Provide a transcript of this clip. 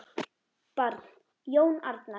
Barn: Jón Arnar.